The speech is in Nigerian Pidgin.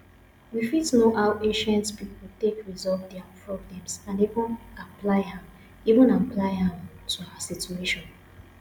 we fit know how ancient pipo take solve their problems and even apply am even apply am to our situation